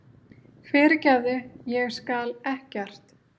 Fyrirgefðu. ég skal ekkert.